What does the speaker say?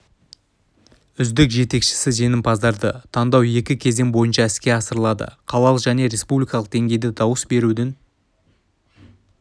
үздік жетекшісі жеңімпаздарды таңдау екі кезең бойынша іске асырылады қалалық және республикалық деңгейде дауыс берудің